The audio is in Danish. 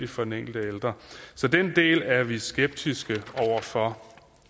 for den enkelte ældre så den del er vi skeptiske over for